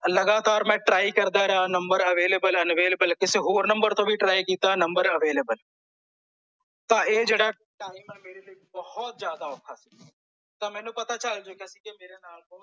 ਲਗਾਤਾਰ ਮੈਂ ਟਰਾਈ ਕਰਦਾ ਰਿਹਾ ਨੰਬਰ unavailable ਐ unavailable ਕਿਸੇ ਹੋਰ ਨੰਬਰ ਤੋਂ ਵੀ ਟਰਾਈ ਕੀਤਾ ਨੰਬਰ unavailable ਤਾਂ ਇਹ ਜਿਹੜਾ ਟਾਈਮ ਐ ਮੇਰੇ ਤੇ ਜਿਆਦਾ ਔਖਾ ਸੀ ਤਾਂ ਮੈਨੂੰ ਪਤਾ ਚੱਲ ਚੁੱਕਿਆ ਸੀ ਕੇ ਮੇਰੇ ਨਾਲ